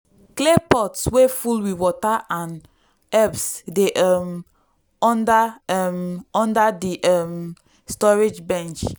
clay pot wey full with water and herbs dey um under um under di um storage bench.